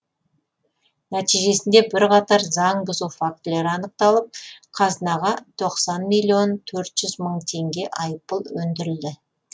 нәтижесінде бірқатар заң бұзу фактілері анықталып қазынаға тоқсан миллион төрт жүз мың теңге айыппұл өндірілді